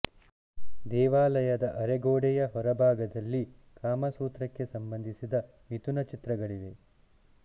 ದೇವಾಲಯದ ಅರೆಗೋಡೆಯ ಹೊರ ಭಾಗದಲ್ಲಿ ಕಾಮಸೂತ್ರಕ್ಕೆ ಸಂಬಂಧಿಸಿದ ಮಿಥುನ ಚಿತ್ರಗಳಿವೆ